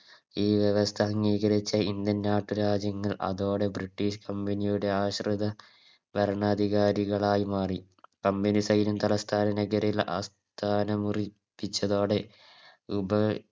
ഈ വ്യവസ്ഥ അംഗീകരിച്ച Indian നാട്ടുരാജ്യങ്ങൾ അതോടെ British company ആശ്രിത ഭരണാധികാരികളായി മാറി Company സൈന്യം തലസ്ഥാന നഗരിയിൽ ആസ്ഥാനം ഉറി പ്പിച്ചതോടെ ഉപ